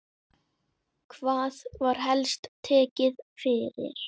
Hvað var helst tekið fyrir?